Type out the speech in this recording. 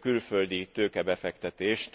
külföldi tőkebefektetést.